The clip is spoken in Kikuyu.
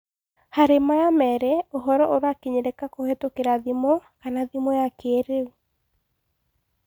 Harĩ maya merĩ ũhoro ũrakinyĩrĩka kũhetũkĩra thimũ / thimũ cia kĩĩrĩu